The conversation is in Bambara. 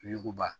Yiruguba